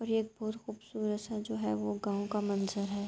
اور ایک بھوت خوبصورت سا جو ہے۔ وو گاؤ کا منظر ہے۔